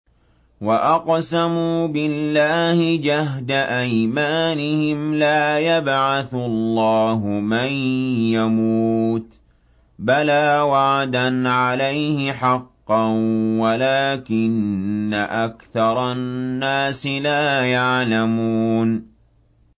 وَأَقْسَمُوا بِاللَّهِ جَهْدَ أَيْمَانِهِمْ ۙ لَا يَبْعَثُ اللَّهُ مَن يَمُوتُ ۚ بَلَىٰ وَعْدًا عَلَيْهِ حَقًّا وَلَٰكِنَّ أَكْثَرَ النَّاسِ لَا يَعْلَمُونَ